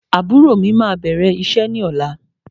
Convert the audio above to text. Àbúrò mí máa bẹ̀rẹ̀ iṣẹ́ ní ọ̀la.